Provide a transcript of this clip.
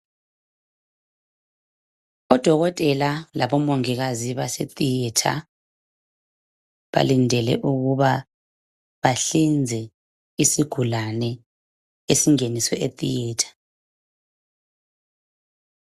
Odokotela labomongikazi base theatre balindele ukuba bahlinze isigulane esingeniswe e theatre